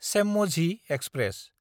चेम्मझि express